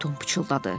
Tom pıçıldadı.